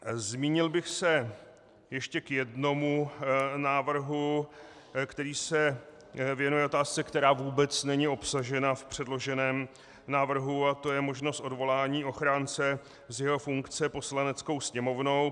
Zmínil bych se ještě o jednom návrhu, který se věnuje otázce, která vůbec není obsažena v předloženém návrhu, a to je možnost odvolání ochránce z jeho funkce Poslaneckou sněmovnou.